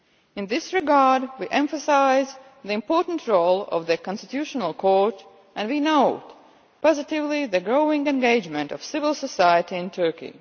In this regard, we emphasise the important role of the constitutional court and we note positively the growing engagement of civil society in Turkey.